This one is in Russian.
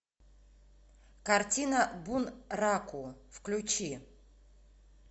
картина бунраку включи